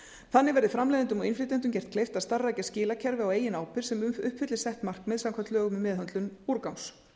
þannig verði framleiðendum og innflytjendum gert kleift að starfrækja skilakerfi á eigin ábyrgð sem uppfylli sett markmið samkvæmt lögum um meðhöndlun úrgangs